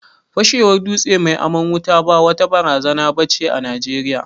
Fashewar dutse mai aman wuta ba wata barazana ba ce a Najeriya.